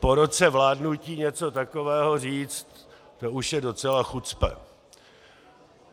Po roce vládnutí něco takového říct to už je docela chucpe.